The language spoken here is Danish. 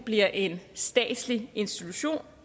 bliver en statslig institution